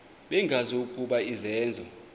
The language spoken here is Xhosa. bengazi ukuba izenzo